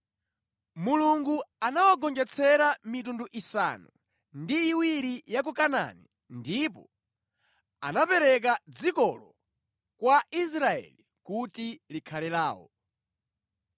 Mulungu anawagonjetsera mitundu isanu ndi iwiri ya ku Kanaani ndipo anapereka dzikolo kwa Israeli kuti likhale lawo.